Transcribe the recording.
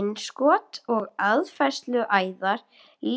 Innskot og aðfærsluæðar